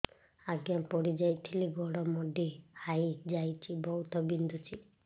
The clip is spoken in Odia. ଆଜ୍ଞା ପଡିଯାଇଥିଲି ଗୋଡ଼ ମୋଡ଼ି ହାଇଯାଇଛି ବହୁତ ବିନ୍ଧୁଛି